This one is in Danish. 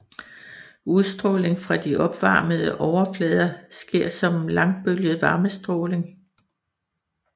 Udstråling fra de opvarmede overflader sker som langbølget varmestråling